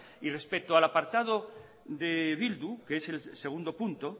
y respecto al apartado de bildu que es el segundo punto